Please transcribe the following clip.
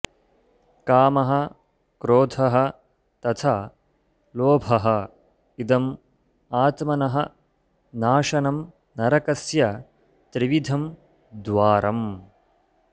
कामः क्रोधः तथा लोभः इदम् आत्मनः नाशनं नरकस्य त्रिविधं द्वारम्